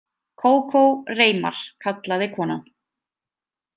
Kókó, Reimar, kallaði konan.